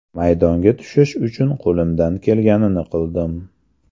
Maydonga tushish uchun qo‘limdan kelganini qildim.